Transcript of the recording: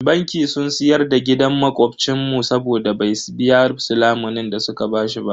Banki sun siyar da gidan makobcin mu saboda bai biya su lamunin da su ka bashi ba.